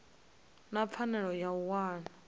na pfanelo ya u wana